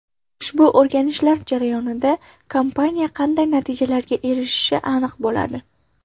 Ushbu o‘rganishlar jarayonida kompaniya qanday natijalarga erishishi aniq bo‘ladi.